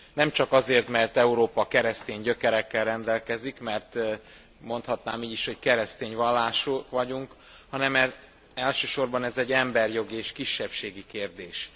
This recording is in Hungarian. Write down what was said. Nem csak azért, mert Európa keresztény gyökerekkel rendelkezik, mert mondhatnám így is, hogy keresztény vallásúak vagyunk hanem mert elsősorban ez egy emberjogi és kisebbségi kérdés.